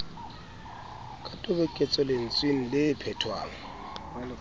ka toboketso lentsweng le phetwang